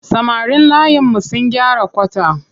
Samarin layinmu sun gyara kwata.